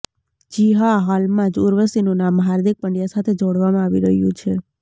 જી હા હાલમાં જ ઉર્વશીનું નામ હાર્દિક પંડ્યા સાથે જોડવામાં આવી રહ્યું છે